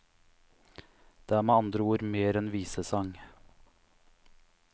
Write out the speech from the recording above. Det er med andre ord mer enn visesang.